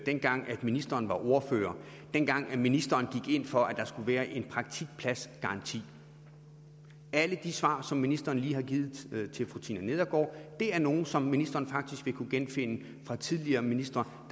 dengang ministeren var ordfører og dengang ministeren gik ind for at der skulle være en praktikpladsgaranti alle de svar som ministeren lige har givet til fru tina nedergaard er nogle som ministeren faktisk vil kunne genfinde fra tidligere ministre